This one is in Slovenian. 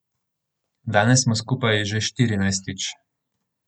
Danes smo skupaj že štirinajstič.